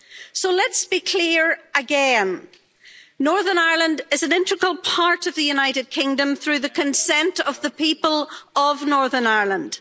So let's be clear, again Northern Ireland is an integral part of the United Kingdom through the consent of the people of Northern Ireland.